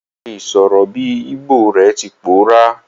Ìse sọ̀rọ̀ bi Igbo re ti pòórá